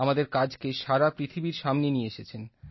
আমাদের কাজকে সারা পৃথিবীর সামনে নিয়ে এসেছেন